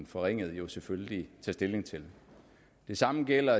forringet jo selvfølgelig tage stilling til det samme gælder